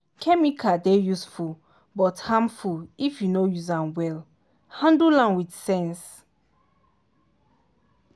chemical dey useful but harmful if you no use am well—handle am with sense.